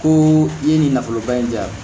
Ko i ye nin nafoloba in di yan